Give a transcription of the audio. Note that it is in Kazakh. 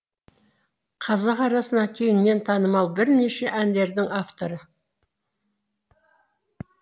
қазақ арасына кеңінен танымал бірнеше әндердің авторы